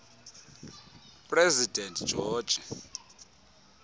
president george